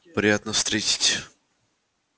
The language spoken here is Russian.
приятно встретить